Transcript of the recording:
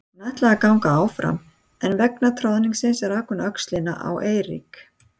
Hún ætlaði að ganga áfram en vegna troðningsins rak hún sig í öxlina á Eiríki.